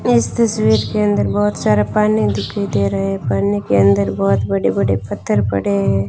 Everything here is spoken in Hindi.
इस तस्वीर के अंदर बहोत सारा पानी दिखाई दे रहा है पानी के अंदर बहोत बड़े बड़े पत्थर पड़े हैं।